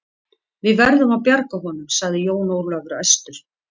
Við verðum að bjarga honum, sagði Jón Ólafur æstur.